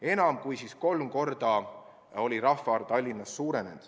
Enam kui kolm korda oli Tallinna elanike arv suurenenud.